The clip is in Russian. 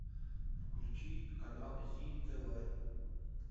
включи канал зи тв